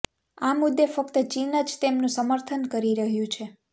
આ મુદ્દે ફક્ત ચીન જ તેમનું સમર્થન કરી રહ્યું છે